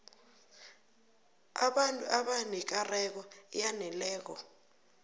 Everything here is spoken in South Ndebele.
abantu abanekareko eyaneleko